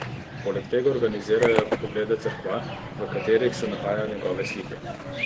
Poleg tega organizirajo oglede cerkva, v katerih se nahajajo njegove slike.